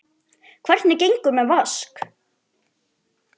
Hvernig gengur með Vask?